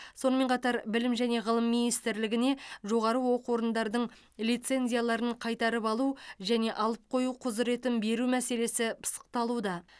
сонымен қатар білім және ғылым министрлігіне жоғары оқу орындардың лицензияларын қайтарып алу және алып қою құзыретін беру мәселесі пысықталуда